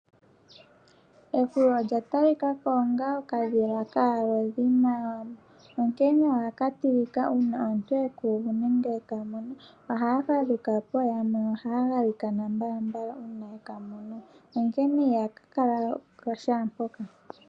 Ehwiyu olya talika ko onga okadhila kaalodhi maAwambo, onkene ohaka tilika uuna omuntu e ku uvu nenge eka mono, ohaya fadhuka po yamwe ohaa galikana mbalambala uuna ye ka mono onkene iha kala shaampoka.